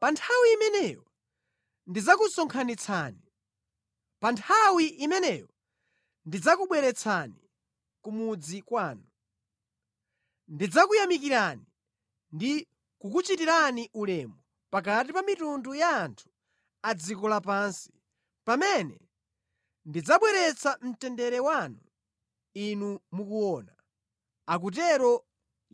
Pa nthawi imeneyo ndidzakusonkhanitsani; pa nthawi imeneyo ndidzakubweretsani ku mudzi kwanu. Ndidzakuyamikirani ndi kukuchitirani ulemu pakati pa mitundu ya anthu a dziko lapansi pamene ndidzabwezeretsa mtendere wanu inu mukuona,” akutero